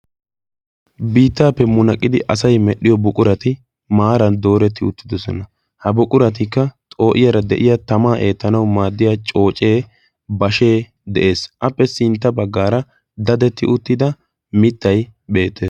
Biittaappe munaqqidi asay medhdhiyo buqurati maaran dooretti uttidosona. Ha buquratikka xoo'iyara de'iya tamaa eettanawu maaddiya coocee, bashee de'ees. Appe sintta baggaara dadetti uttida mittay beettees.